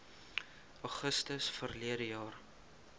augustus verlede jaar